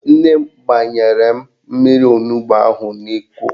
Nne m gbanyere m mmiri onugbo ahụ n'Iko